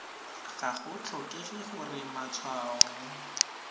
ga go tlhokege gore matshwao